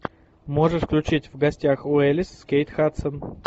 можешь включить в гостях у элис с кейт хадсон